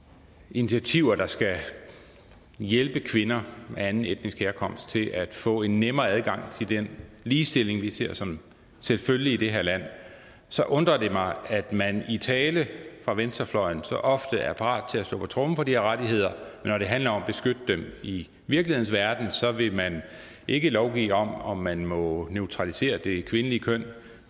initiativer der skal hjælpe kvinder af anden etnisk herkomst til at få en nemmere adgang til den ligestilling vi ser som selvfølgelig i det her land så undrer det mig at man i tale fra venstrefløjen så ofte er parat til at slå på tromme for de her rettigheder men når det handler om at beskytte dem i virkelighedens verden så vil man ikke lovgive om om man må neutralisere det kvindelige køn